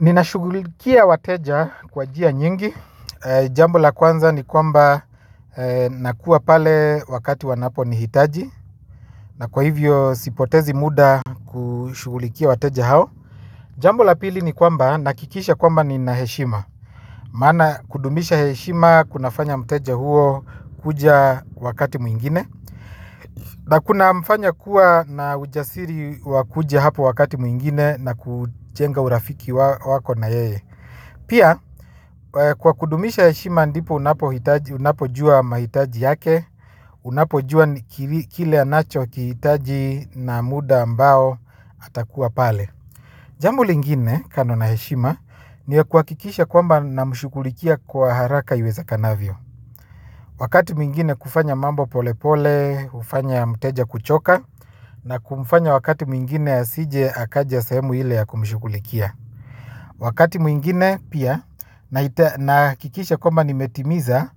Nina shughulikia wateja kwa njia nyingi. Jambo la kwanza ni kwamba nakua pale wakati wanapo nihitaji na kwa hivyo sipotezi muda kushughulikia wateja hao. Jambo la pili ni kwamba nahakikisha kwamba nina heshima maana kudumisha heshima kuna fanya mteja huo kuja wakati mwingine. Na kuna mfanya kuwa na ujasiri wa kuja hapo wakati mwingine na kujenga urafiki wako na yeye. Pia kwa kudumisha heshima ndipo unapojua mahitaji yake, unapojua kile anacho kihitaji na muda ambao atakuwa pale. Jambo lingine kando na heshima ni kuhakikisha kwamba namshughulikia kwa haraka iwezekanavyo. Wakati mwingine kufanya mambo pole pole kufanya mteja kuchoka na kumfanya wakati mwingine asije akaja sehemu ile ya kumshughulikia. Wakati mwingine pia na hakikisha kwamba nimetimiza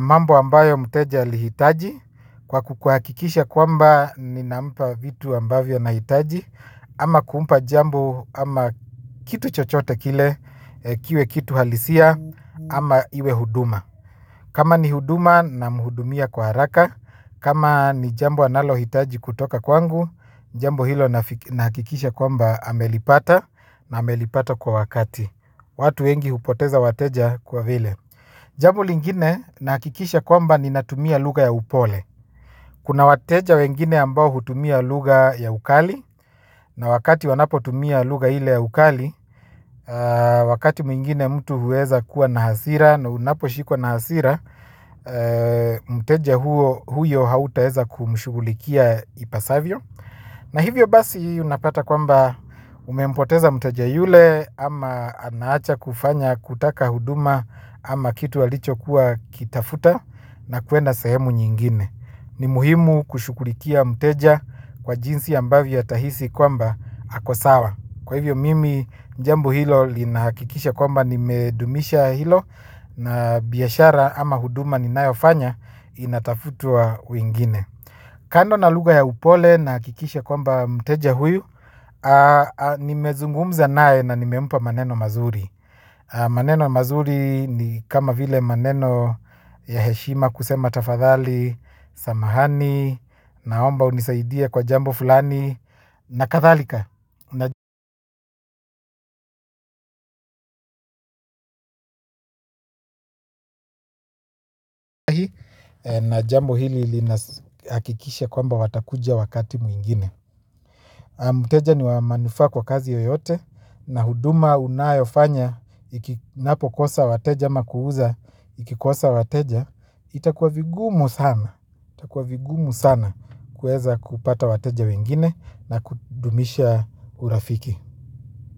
mambo ambayo mteja ali hitaji kwa kukuhakikisha kwamba ninampa vitu ambavyo anahitaji ama kumpa jambo ama kitu chochote kile kiwe kitu halisia ama iwe huduma. Kama ni huduma namhudumia kwa haraka, kama ni jambo analo hitaji kutoka kwangu, jambo hilo nahakikisha kwamba amelipata na amelipata kwa wakati. Watu wengi hupoteza wateja kwa vile. Jambo lingine nahakikisha kwamba ninatumia lugha ya upole. Kuna wateja wengine ambao hutumia lugha ya ukali na wakati wanapo tumia lugha ile ya ukali, wakati mwingine mtu huweza kuwa na hasira na unapo shikwa na hasira. Mteja huyo hauta weza kumshughulikia ipasavyo. Na hivyo basi unapata kwamba umempoteza mteja yule ama anaacha kufanya kutaka huduma. Ama kitu alicho kuwa kitafuta na kuenda sahemu nyingine ni muhimu kushughulikia mteja kwa jinsi ambavyo atahisi kwamba ako sawa kwa hivyo mimi jambo hilo lina hakikisha kwamba nime dumisha hilo na biashara ama huduma ninayo fanya inatafutwa wengine. Kando na lugha ya upole nahakikisha kwamba mteja huyu nimezungumza naye na nimempa maneno mazuri. Maneno mazuri ni kama vile maneno ya heshima kusema tafadhali, samahani, naomba unisaidie kwa jambo fulani na kadhalika na jambo hili linahakikisha kwamba watakuja wakati mwingine mteja ni wa manufaa kwa kazi yoyote na huduma unayofanya inapo kosa wateja ama ku uza ikikosa wateja itakuwa vigumu sana itakuwa vigumu sana kuweza kupata wateja wengine na kudumisha urafiki.